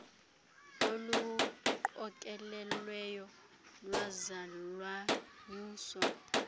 oluqokelelweyo lwaza lwanyuswa